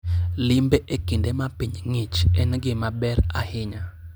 Limbe e kinde ma piny ng'ich en gima ber ahinya.